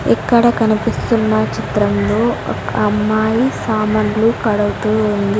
ఇక్కడ కనపిస్తున్న చిత్రంలో ఒక్ అమ్మాయి సామాన్లు కడగ్తూ ఉంది.